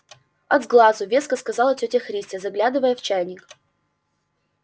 от сглазу веско сказала тётя христя заглядывая в чайник